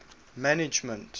management